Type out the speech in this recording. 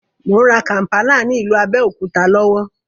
Mò ń rà kàmpálà ní ìlú Abẹ́òkúta lọ́wọ́